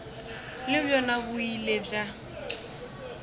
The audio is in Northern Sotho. le bjona bo ile bja